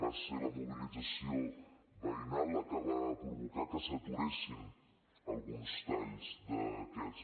va ser la mobilització veïnal la que va provocar que s’aturessin alguns talls d’aquests